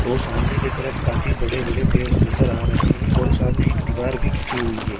ओ सामने के तरफ काफी बड़े-बड़े पेड़ नजर आ रहे हैं और सामने एक दीवार भी खींची हुई है।